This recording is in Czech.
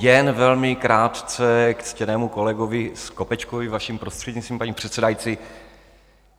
Jen velmi krátce k ctěnému kolegovi Skopečkovi, vaším prostřednictvím, paní předsedající.